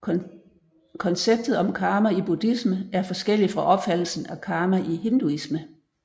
Konceptet om karma i buddhisme er forskellig fra opfattelsen af karma i hinduisme